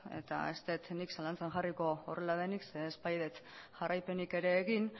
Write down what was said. eta ez dut nik zalantzan jarriko horrela denik zeren ez baitut jarraipenik ere egin